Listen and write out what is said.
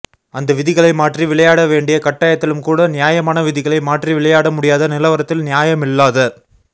அந்த விதிகளை மாற்றி விளையாட வேண்டிய கட்டாயத்திலும் கூட நியாயமான விதிகளை மாற்றி விளையாட முடியாத நிலவரத்தில் நியாயமில்லாத